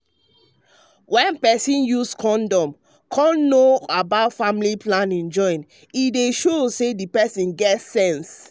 wen peson use condom and come know about family planning join dey um show say um peson get sense. um